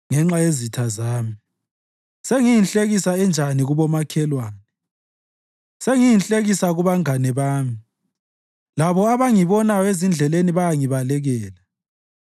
Ngenxa yezitha zami, sengiyinhlekisa enjani kubomakhelwane; sengiyinhlekisa kubangane bami labo abangibonayo ezindleleni bayangibalekela.